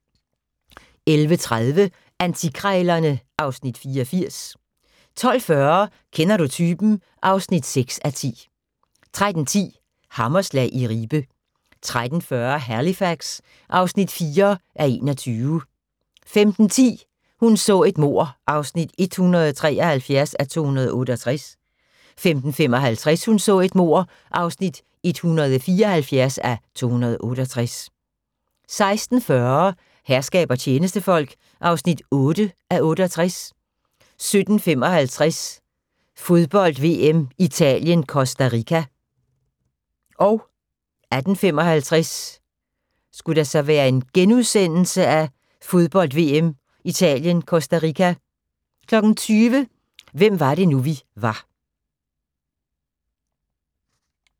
11:30: Antikkrejlerne (Afs. 84) 12:40: Kender du typen? (6:10) 13:10: Hammerslag i Ribe 13:40: Halifax (4:21) 15:10: Hun så et mord (173:268) 15:55: Hun så et mord (174:268) 16:40: Herskab og tjenestefolk (8:68) 17:55: Fodbold: VM - Italien-Costa Rica 18:55: Fodbold: VM - Italien-Costa Rica * 20:00: Hvem var det nu, vi var